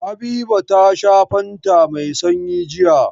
Habiba ta sha fanta mai sanyi jiya.